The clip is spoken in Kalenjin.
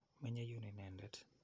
Menye yuun inendet.